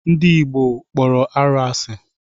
Ndị Igbo kpọrọ arụ asị.